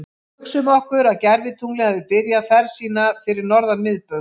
Hugsum okkur að gervitunglið hafi byrjað ferð sína fyrir norðan miðbaug.